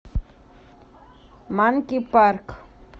манки парк